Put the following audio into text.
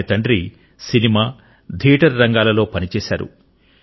ఆయన తండ్రి cinema theatre రంగాలలో పనిచేశారు